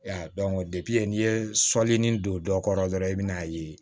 n'i ye sɔli nin don dɔ kɔrɔ dɔrɔn i bɛ n'a ye